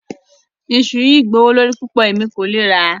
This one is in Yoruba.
Ìṣu̩ yi jẹ́ gbòwó lọrí púpọ̀, ẹ̀mí kò le gbà.